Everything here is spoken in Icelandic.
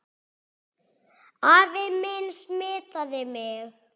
Afi minn smitaði mig.